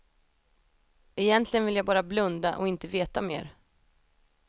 Egentligen vill jag bara blunda och inte veta mer.